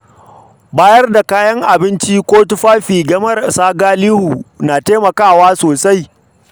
Ba da kayan abinci ko tufafi ga marasa galihu na taimakawa sosai.